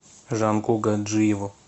жанку гаджиеву